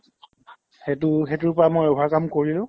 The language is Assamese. সেইটো সেইটোৰ পৰা মই overcome কৰিলো